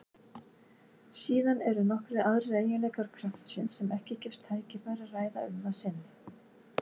Síðan eru nokkrir aðrir eiginleikar kraftsins sem ekki gefst tækifæri að ræða um að sinni.